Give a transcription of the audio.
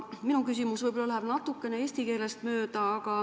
Minu küsimus läheb natukene eesti keelest mööda.